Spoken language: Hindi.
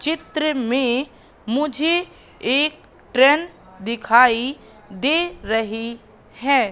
चित्र में मुझे एक ट्रेन दिखाई दे रही है।